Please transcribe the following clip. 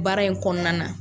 Baara in kɔnɔna na